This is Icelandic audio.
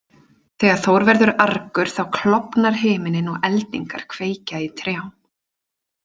Þegar Þór verður argur þá klofnar himinninn og eldingar kveikja í trjám.